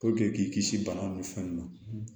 k'i kisi bana nun fɛn ninnu ma